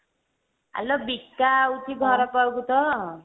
ଆଲୋ ବିକା ଆଉଛି ଘରପାଖକୁ ତ